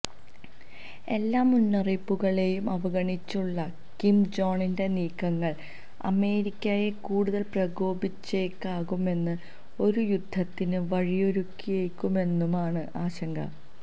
എല്ലാ മുന്നറിയിപ്പുകളെയും അവഗണിച്ചുള്ള കിം ജോങിന്റെ നീക്കങ്ങള് അമേരിക്കയെ കൂടുതല് പ്രകോപിപ്പിച്ചേക്കാമെന്നും ഒരു യുദ്ധത്തിന് വഴിയൊരുക്കിയേക്കുമെന്നുമാണ് ആശങ്ക